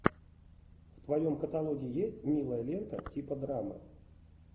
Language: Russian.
в твоем каталоге есть милая лента типа драмы